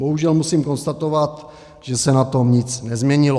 Bohužel musím konstatovat, že se na tom nic nezměnilo.